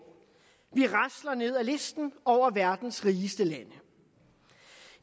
vi rasler ned ad listen over verdens rigeste lande